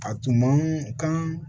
A tun man kan